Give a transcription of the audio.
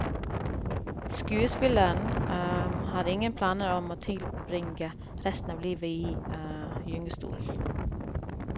Skuespilleren har ingen planer om å tilbringe resten av livet i gyngestol.